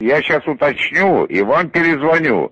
я сейчас уточню и вам перезвоню